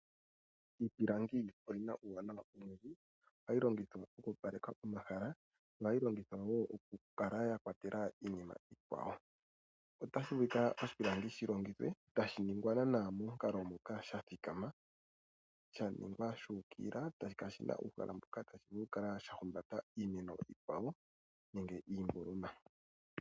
Iipilangi oyi na uuwanawa owundji ngaashi okulongithwa oku opaleka pomahala. Ohayi longithwa wo oku kala ya kwatelwa iinima iikwawo. Oshipilangi otashi vulu okuningwa iinima iikwawo shi longithwe e tashi ningwa momukalo moka gwa thikama. Ohashi vulu okuhumbata iinima iikwawo, ngaashi iimboloma.